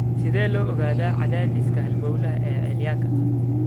Sidee loo ogaadaa cadaadiska halbowlaha celiacga?